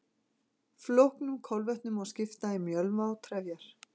Flóknum kolvetnum má skipta í mjölva og trefjar.